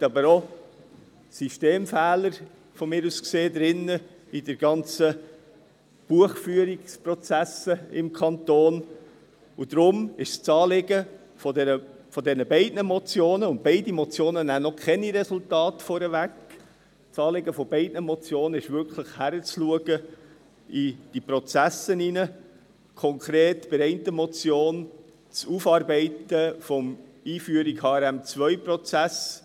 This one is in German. Es gibt aber aus meiner Sicht auch Systemfehler in den ganzen Buchführungsprozessen des Kantons, und darum ist das Anliegen von diesen beiden Motionen – und beide Motionen nehmen noch keine Resultate vorweg – wirklich, in die Prozesse hineinzuschauen und konkret bei der einen Motion, das Aufarbeiten der Einführung des HRM2-Prozesses.